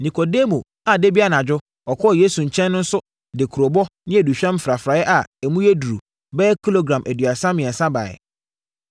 Nikodemo a da bi anadwo ɔkɔɔ Yesu nkyɛn no nso de kurobo ne aduhwam mfrafraeɛ a emu duru bɛyɛ kilogram aduasa mmiɛnsa baeɛ.